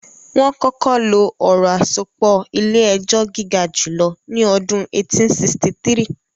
Wọ́n kọ́kọ́ lo ọ̀rọ̀ àsopọ̀ ilé-ẹjọ́ gígajùlọ ní ọdún 1863